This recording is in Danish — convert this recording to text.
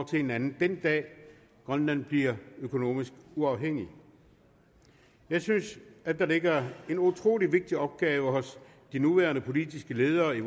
til hinanden den dag grønland bliver økonomisk uafhængig jeg synes at der ligger en utrolig vigtig opgave hos de nuværende politiske ledere i